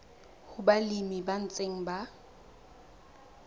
ho balemi ba ntseng ba